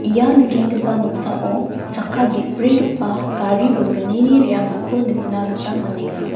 ia nikenggipa noksao chakka ge·brigipa gari bolgnini re·angako nikna gita man·enga.